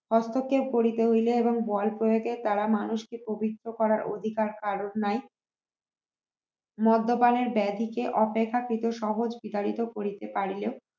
হস্তক্ষেপ করিতে হইলে এবং বল প্রয়োগের দ্বারা মানুষকে পবিত্র করার অধিকার কার নাই মদপানের ব্যাধিকে অপেক্ষা কি তোর সহজ বিতাড়িত করিতে পারিলেও